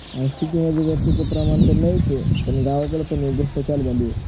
city मध्ये त्याच प्रमाण नाहीच आहे पण गावाकड हेच जास्त चालू झाल आहे